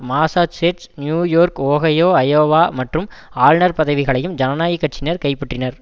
Massachusetts New York Ohio Iowa மற்றும் ஆளுனர் பதவிகளையும் ஜனநாயக் கட்சியினர் கைப்பற்றினர்